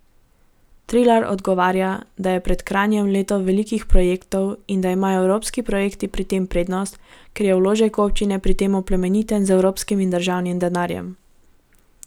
Trilar odgovarja, da je pred Kranjem leto velikih projektov in da imajo evropski projekti pri tem prednost, ker je vložek občine pri tem oplemeniten z evropskim in državnim denarjem.